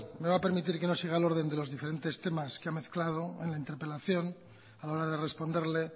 me va a permitir que no siga el orden de los diferentes temas que ha mezclado en la interpelación a la hora de responderle